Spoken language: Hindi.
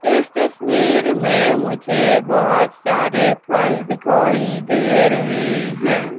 इस तस्वीर में मुझे बहुत सारे फल दिखाई दे रहे हैं।